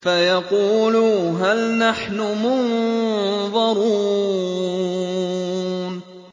فَيَقُولُوا هَلْ نَحْنُ مُنظَرُونَ